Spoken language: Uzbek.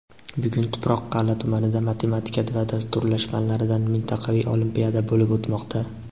Bugun Tuproqqal’a tumanida matematika va dasturlash fanlaridan mintaqaviy olimpiada bo‘lib o‘tmoqda.